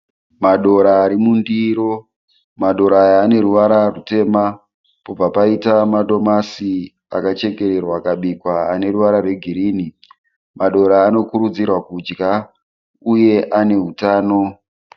Madora arimundiro, madora aya aneruvara rwutema pobva paita madomasi akachekererwa akabikwa aneruvara rwegirini. Madora anokurudzirwa kudya uye anehutano.